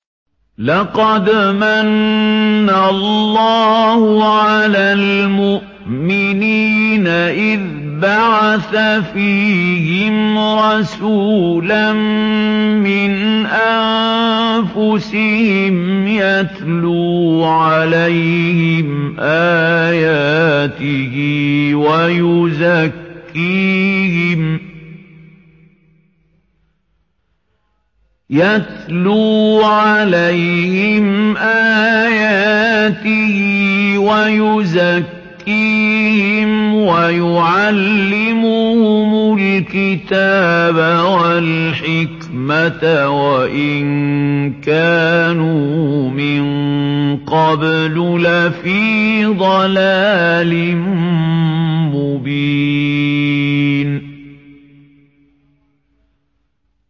لَقَدْ مَنَّ اللَّهُ عَلَى الْمُؤْمِنِينَ إِذْ بَعَثَ فِيهِمْ رَسُولًا مِّنْ أَنفُسِهِمْ يَتْلُو عَلَيْهِمْ آيَاتِهِ وَيُزَكِّيهِمْ وَيُعَلِّمُهُمُ الْكِتَابَ وَالْحِكْمَةَ وَإِن كَانُوا مِن قَبْلُ لَفِي ضَلَالٍ مُّبِينٍ